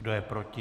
Kdo je proti?